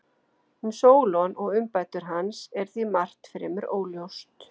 Um Sólon og umbætur hans er því margt fremur óljóst.